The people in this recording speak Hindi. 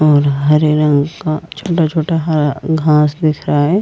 और हरे रंग का छोटा-छोटा हरा घास दिख रहा है।